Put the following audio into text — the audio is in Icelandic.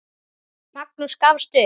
Magnús gafst upp.